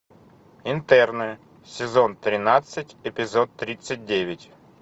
интерны сезон тринадцать эпизод тридцать девять